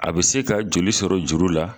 A be se ka joli sɔrɔ juru la